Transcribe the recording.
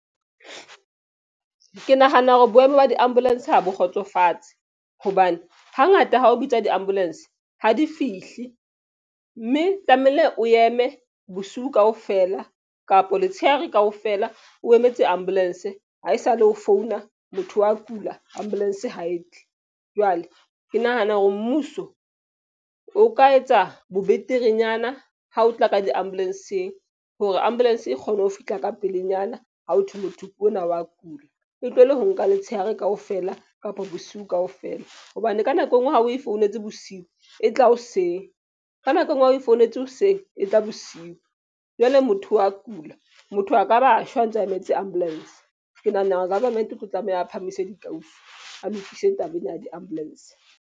Ke nahana hore boemo ba di-ambulance ha bo kgotsofatse. Hobane hangata ha o bitsa di-ambulance ha di fihle. Mme tlamehile o eme bosiu kaofela kapa letshehare kaofela, o emetse ambulance. Ha esale o founa motho wa kula ambulance ha e tle. Jwale ke nahana hore mmuso o ka etsa bo beterenyana ha o tla ka di-ambulance-ng hore ambulance e kgone ho fihla ka pelenyana ha ho thwe motho ona wa kula. E tlohele ho nka letshehare kaofela kapa bosiu kaofela. Hobane ka nako enngwe ha o e founetse bosiu, e tla hoseng. Ka nako enngwe ha o e founetse hoseng e tla bosiu. Jwale motho wa kula, motho a ka ba a shwa a ntse a emetse ambulance. Ke nahana hore government e tlo tlameha a phahamise dikausi, a lokise taba ena ya di-ambulance.